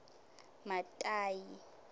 matayi